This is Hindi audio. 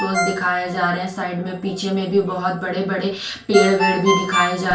पोज़ दिखाए जा रहे हैं साइड में पीछे में भी बहोत बड़े बड़े पेड़ वेड भी दिखाई जा--